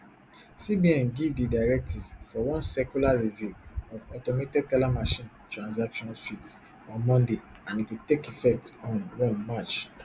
cbn give di directive for one circular review of automated teller machine transaction fees on monday and e go take effect on one march